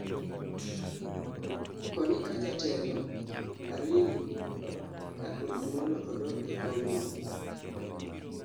koni ka jatelo Hariri ka orit mondo odog e kom no.